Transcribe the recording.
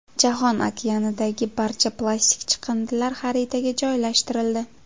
Jahon okeanidagi barcha plastik chiqindilar xaritaga joylashtirildi.